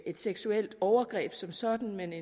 et seksuelt overgreb som sådan men